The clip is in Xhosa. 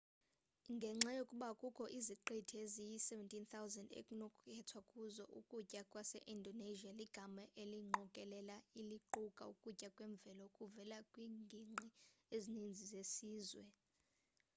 ngenxa yokuba kukho iziqithi eziyi-17 000 ekunokukhethwa kuzo ukutya kwase-indonesia ligama eliyingqokelela eliquka ukutya kwemvelo okuvela kwiinginqi ezininzi zesizwe